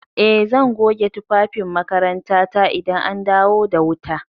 Eh, zan goge tufafin makarantata idan an dawo da wuta.